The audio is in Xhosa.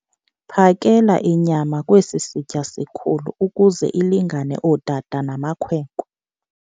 Phakela inyama kwesi sitya sikhulu ukuze ilingane ootata namakhwenkwe.